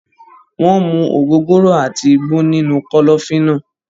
Wọ́n ń mu ògógóró àti igbó nínú kọ́lọ́fín náà.